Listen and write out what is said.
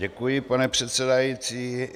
Děkuji, pane předsedající.